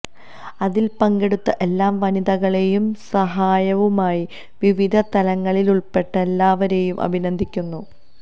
അതിൽ പങ്കെടുത്ത എല്ലാ വനിതകളെയും സഹായവുമായി വിവിധ തലങ്ങളിലിടപെട്ട എല്ലാവരെയും അഭിനന്ദിക്കുന്നു